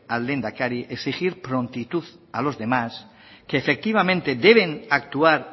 al lehendakari exigir prontitud a los demás que efectivamente deben actuar